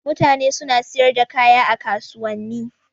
Mutane suna siyar da kaya a kasuwanni.